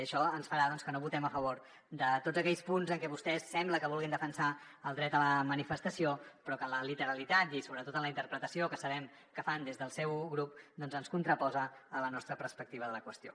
i això ens farà doncs que no votem a favor de tots aquells punts en què vostès sembla que vulguin defensar el dret a la manifestació però que en la literalitat i sobretot en la interpretació que sabem que fan des del seu grup es contraposen a la nostra perspectiva de la qüestió